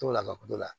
O la bato la